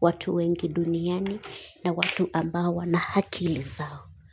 watu wengi duniani na watu ambao wana akili zao.